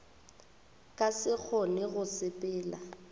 ka se kgone go sepela